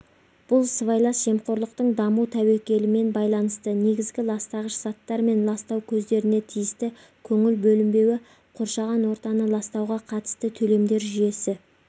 бұл сыбайлас жемқорлықтың даму тәуекелімен байланысты негізгі ластағыш заттар мен ластау көздеріне тиісті көңіл бөлінбеуі қоршаған ортаны ластауға қатысты төлемдер жүйесі